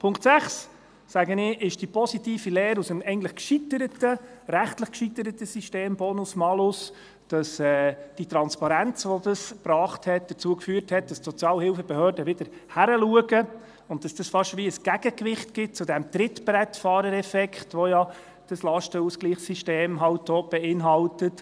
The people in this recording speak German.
Punkt 6, sage ich, ist die positive Lehre aus dem eigentlich rechtlich gescheiterten System BonusMalus, wo die Transparenz, die das gebracht hat, dazu geführt hat, dass die Sozialhilfebehörden wieder hinschauen und dass es fast wie ein Gegengewicht zu diesem Trittbrettfahrereffekt gibt, den ja das Lastenausgleichssystem auch beinhaltet: